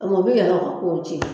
A kuma o be yɛrɛ ka kow cɛn